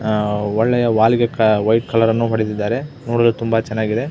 ಅಹ್ ಒಳ್ಳೆಯ ವಾಲ್ಗಿಕ ವೈ ಕಲರನ್ನು ಹೊಡೆದ್ದಿದ್ದಾರೆ ನೋಡಲು ತುಂಬಾ ಚನ್ನಾಗಿದೆ.